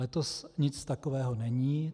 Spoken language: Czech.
Letos nic takového není.